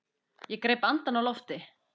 Ég greip andann á lofti.